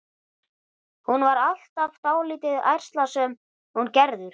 Hún var alltaf dálítið ærslasöm, hún Gerður.